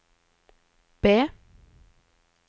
B